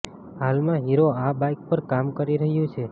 હાલમાં હીરો આ બાઇક પર કામ કરી રહ્યું છે